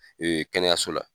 Kɛnɛyaso la.